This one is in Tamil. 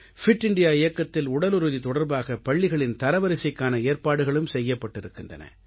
பிட் இந்தியா இயக்கத்தில் உடலுறுதி தொடர்பாக பள்ளிகளின் தரவரிசைக்கான ஏற்பாடுகளும் செய்யப்பட்டிருக்கின்றன